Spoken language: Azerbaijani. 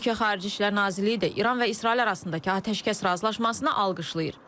Türkiyə Xarici İşlər Nazirliyi də İran və İsrail arasındakı atəşkəs razılaşmasını alqışlayır.